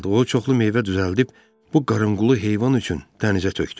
O çoxlu meyvə düzəldib bu qarınqulu heyvan üçün dənizə tökdü.